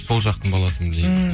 сол жақтың баласымын негізі